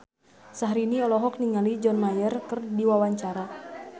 Syahrini olohok ningali John Mayer keur diwawancara